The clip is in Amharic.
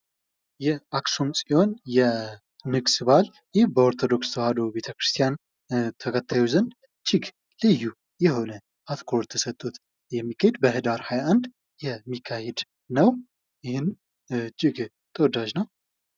ይህ የአክሱም ፅዮን የንግስ በዓል ይህ በኦርቶዶክስ ተዋህዶ ቤተክርስቲያን ተከታዮች ዘንድ እጅግ ልዩ አትክሮት ተሰጦት የሚከድ በህዳር 21 የሚካሄድ ነው ይህም እጅግ ተወዳጅ ነው::